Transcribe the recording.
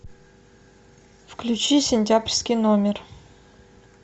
включи сентябрьский номер